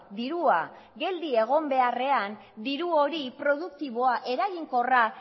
dirua geldi egon beharrean diru hori produktiboa eraginkorra